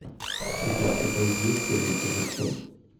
у тебя в каталоге есть первый эпизод хор